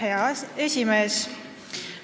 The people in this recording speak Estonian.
Hea esimees!